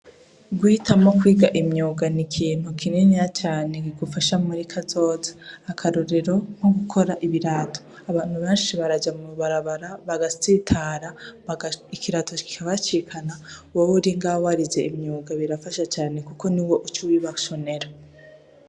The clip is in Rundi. Guhitamwo kwiga imyuga ni ikintu kiniya cane, kigufasha muri kazoza. Akarorero, nko gukora ibirato, abantu benshi baraja mw'ibarabara bagatsitara, ikirato kikabacikana, wewe uri ngaho warize imyuga birafasha cane kuko niwe uca ubibashonera.